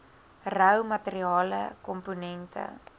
rou materiale komponente